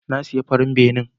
Na siya farin benen.